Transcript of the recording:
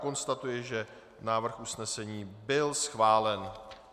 Konstatuji, že návrh usnesení byl schválen.